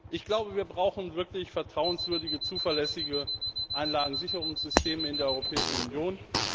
Ich glaube, wir brauchen wirklich vertrauenswürdige, zuverlässige Anlagensicherungssysteme in der Europäischen Union.